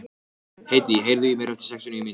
Hedí, heyrðu í mér eftir sextíu og níu mínútur.